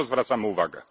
Na to zwracamy uwagę.